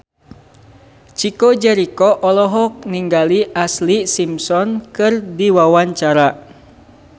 Chico Jericho olohok ningali Ashlee Simpson keur diwawancara